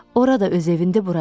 Ora da öz evindi, bura da.